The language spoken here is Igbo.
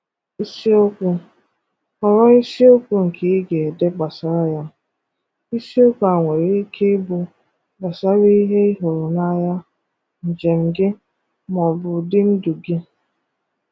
Ìsìokwù: Họrọ̀ ìsìokwù nkè ị̀ ga-edè gbasàrà yà. Ìsìokwù à nwerè ikè ịbụ̀ gbasàrà ihè ị̀ hụrụ̀ n’anyà, njem̀ gị, mà ọ̀ bụ̀ ụdị̀ ndù gị.